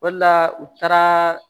O de la u taara